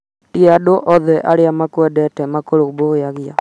ti andũ othe arĩa makwendete makũrũmbũyagia